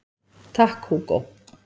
Takk Hugo